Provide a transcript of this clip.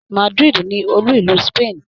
Madrid ni olú ìlú Spain